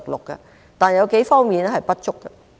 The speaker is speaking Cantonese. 不過，有幾方面仍然不足。